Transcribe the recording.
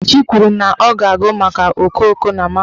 Nkechi kwuru na ọ ga-agụ maka okooko na mahadum.